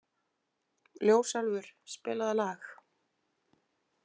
Ljósálfur, spilaðu lag.